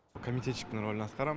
комитетчиктің ролін атқарам